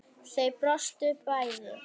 Þau brostu bæði.